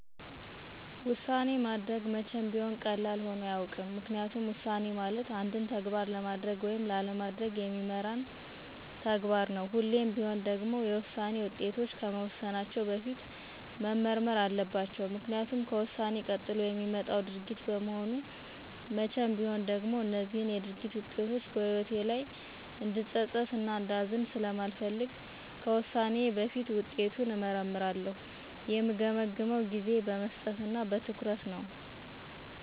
ውሳኔ ማድረግ መቼም ቢሆን ቀላል ሆኖ አያውቅም። ምክንያቱም ውሳኔ ማለት አንድን ተግባር ለማድረግ ወይም ላለማድረግ የሚመራን ተግባር ነው። ሁሌም ቢሆን ደግሞ የውሳኔ ውጤቶች ከመወሰናቸው በፊት መመርመር አለባቸው። ምክኒያቱም ከውሳኔ ቀጥሎ የሚመጣው ድርጊት በመሆኑ መቼም ቢሆን ደግሞ እነዚህ የድርጊት ውጤቶች በህይወቴ ላይ እንድፀፀት እና እንዳዝን ስለማልፈልግ ከውሳኔዬ በፊት ውጤቱን እመረረምራለሁ። የምገመግመውም ጊዜ በመስጠት እና በትኩረት ነው።